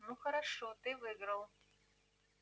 ну хорошо ты выиграл